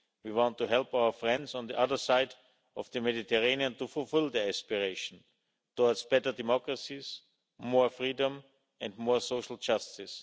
We want to help our friends on the other side of the Mediterranean to fulfil their aspiration towards better democracies, more freedom and more social justice.